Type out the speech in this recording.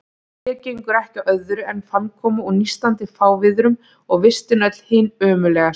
Hér gengur ekki á öðru en fannkomu og nístandi fárviðrum, og vistin öll hin ömurlegasta.